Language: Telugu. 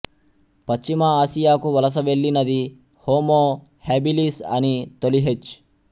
పశ్చిమ ఆసియాకు వలస వెళ్ళినది హోమో హ్యాబిలిస్ అనీ తొలి హెచ్